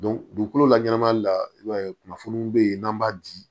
dugukolo la ɲɛnama la i b'a ye kunnafoniw be yen n'an b'a di